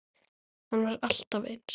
Hann var alltaf eins.